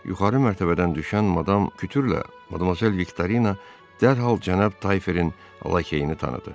Yuxarı mərtəbədən düşən Madam Kütürlə Madmazel Viktorina dərhal Cənab Tayferin lakeyini tanıdı.